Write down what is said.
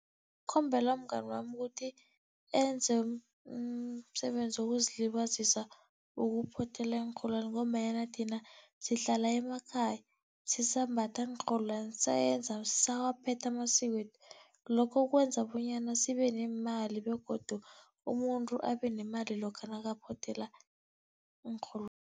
Khombela umngani wami ukuthi enze umsebenzi wokuzilibazisa, wokuphothela iinrholwani ngombanyana thina sihlala emakhaya sisambatha iinrholwani sisawaphetha amasiko wethu. Lokho kwenza bonyana sibe neemali begodu umuntu abe nemali nakaphothela